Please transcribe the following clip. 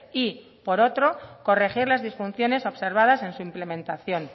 y por otro corregir las disfunciones observadas en su implementación